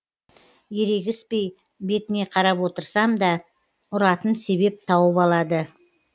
ерегіспей бетіне қарап отырсам да ұратын себеп тауып алады